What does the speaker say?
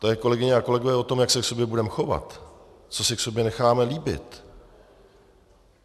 To je, kolegyně a kolegové, o tom, jak se k sobě budeme chovat, co si k sobě necháme líbit.